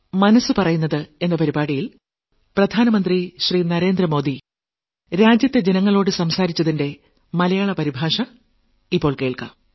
മനസ്സ് പറയുന്നത് 52ാം ലക്കം